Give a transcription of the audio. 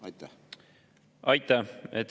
Aitäh!